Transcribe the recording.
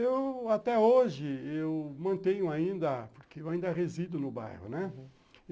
Eu, até hoje, eu mantenho ainda, porque eu ainda resido no bairro, né?